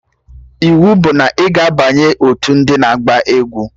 Iwu bụ na ị ga-abanye otu ndị na-agba egwu!